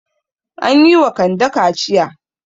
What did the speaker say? An yi wa Kande kaciya.